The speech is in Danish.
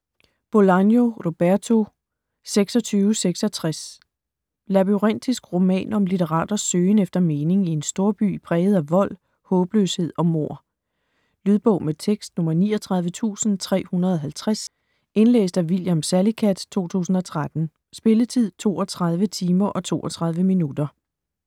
Bolaño, Roberto: 2666 Labyrintisk roman om litteraters søgen efter mening i en storby præget af vold, håbløshed og mord. Lydbog med tekst 39350 Indlæst af William Salicath, 2013. Spilletid: 32 timer, 32 minutter.